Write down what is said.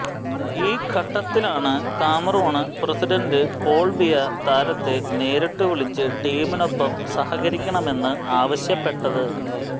ഈ ഘട്ടത്തിലാണ് Cameroon president Paul Biya താരത്തെ നേരിട്ട് വിളിച്ച് ടീമിനൊപ്പം സഹകരിക്കണമെന്ന് ആവശ്യപ്പെട്ടത്